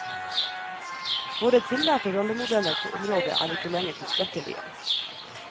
Våre tillærte rollemodeller på området er ikke lenger tilstrekkelige.